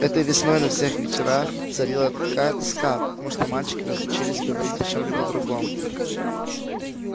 этой весной на всех вечерах царила такая тоска потому что мальчики разучились говорить о чем-либо другом